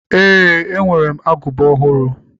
Ee, enwere m agụba ọhụrụ.